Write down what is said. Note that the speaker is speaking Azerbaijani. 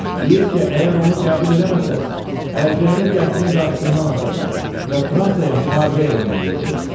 Deyir ki, əgər onu qəbul eləməsəniz, əlcəyini qəsrin qapısından asacaq və Fransaya müharibə elan eləyəcək.